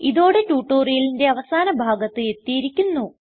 ഇതോടെ ട്യൂട്ടോറിയലിന്റെ അവസാന ഭാഗത്ത് എത്തിയിരിക്കുന്നു